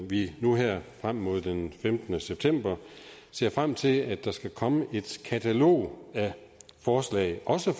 vi nu her frem mod den femtende september ser frem til at der skal komme et katalog af forslag også